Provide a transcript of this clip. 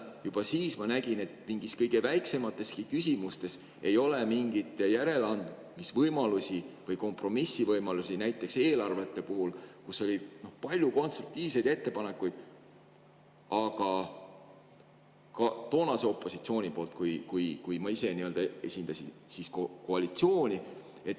Juba siis ma nägin, et kõige väiksemateski küsimustes ei ole järeleandmisvõimalusi või kompromissivõimalusi, näiteks eelarvete puhul, kus oli palju konstruktiivseid ettepanekuid ka toonase opositsiooni poolt, kui ma ise esindasin koalitsiooni.